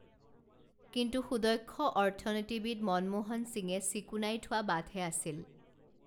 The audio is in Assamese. কিন্তু সুদক্ষ অৰ্থনীতিবিদ মনোমোহন সিঙে চিকুনাই থোৱা বাটহে আছিল